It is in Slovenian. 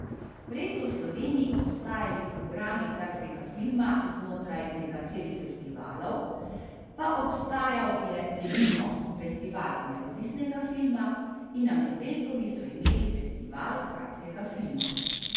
Prej so v Sloveniji obstajali programi kratkega filma znotraj nekateri festivalov, pa obstajal je denimo festival neodvisnega film, in na Metelkovi so imeli festival kratkega filma.